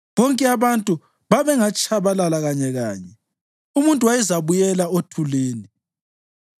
bonke abantu babengatshabalala kanyekanye, umuntu wayezabuyela othulini.